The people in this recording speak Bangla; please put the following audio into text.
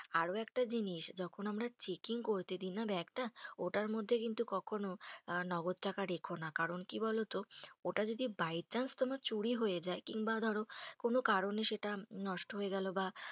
আরো একটা জিনিস, যখন আমরা checking করতে দিই না bag টা ওটার মধ্যে কিন্তু কখনো নগদ টাকা রেখো না। কারণ, কি বলোতো, ওটা যদি by chance তোমার চুরি হয়ে যায় কিংবা ধরো কোনো কারণে সেটা নষ্ট হয়ে গেলো বা